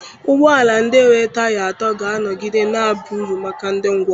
Ụgbọ ala ndị nwere taya atọ ga-anọgide na-aba uru maka ndị ngwọrọ